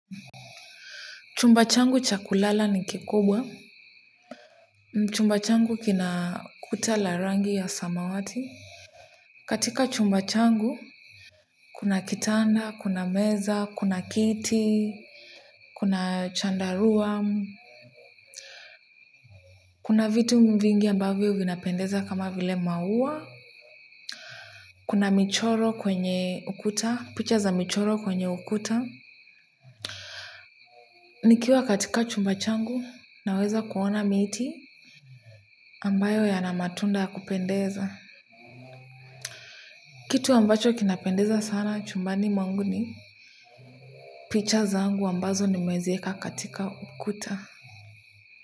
Chumba changu cha kulala ni kikubwa chumba changu kina kuta la rangi ya samawati katika chumba changu kuna kitanda kuna meza kuna kiti kuna chandarua kuna vitu vingi ambavyo vinapendeza kama vile maua kuna michoro kwenye ukuta picha za michoro kwenye ukuta nikiwa katika chumba changu ninaweza kuona miti ambayo yana matunda ya kupendeza. Kitu ambacho kinapendeza sana chumbani mwangu ni picha zangu ambazo nimeziweka katika ukuta.